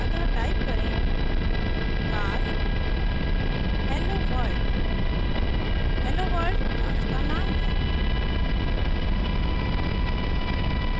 अतः type करें class helloworld helloworld class का name है